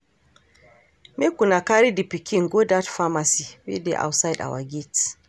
Make una carry the pikin go dat pharmacy wey dey outside our gate